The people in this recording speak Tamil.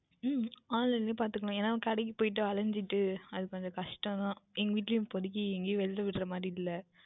உம் Online லேயே பார்த்துக்கொள்ளலாம் ஏனென்றால் கடைக்கு போய்ட்டு அலைந்துவிட்டு அது கொஞ்சம் கஷ்டம் தான் எங்கள் வீட்டுலையும் இப்போதைக்கு எங்கையும் வெளியே விடுகின்ற மாதிரி இல்லை